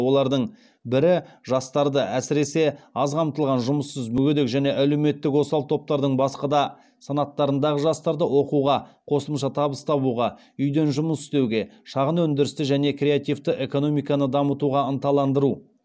олардың бірі жастарды әсіресе аз қамтылған жұмыссыз мүгедек және әлеуметтік осал топтардың басқа да санаттарындағы жастарды оқуға қосымша табыс табуға үйден жұмыс істеуге шағын өндірісті және креативті экономиканы дамытуға ынталандыру